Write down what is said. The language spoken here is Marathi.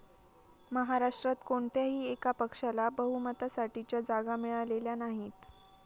महाराष्ट्रात कोणत्याही एका पक्षाला बहुमतासाठीच्या जागा मिळालेल्या नाहीत.